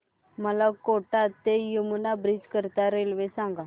मला कोटा ते यमुना ब्रिज करीता रेल्वे सांगा